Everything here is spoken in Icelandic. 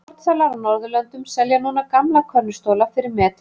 Fornsalar á Norðurlöndum selja núna gamla könnustóla fyrir metfé.